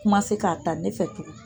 k'a ta ne fɛ tugu